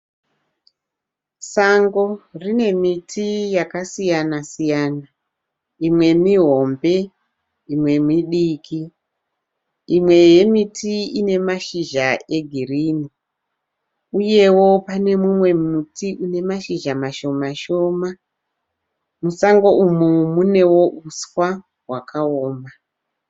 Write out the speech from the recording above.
Sango rine miti yakasiyana siyana, imwe mihombe imwe midiki imwe yemiti ine mashizha egirini uyewo pane mumwe muti une mashizha mashoma shoma musango umu munewo huswa hwakaoma.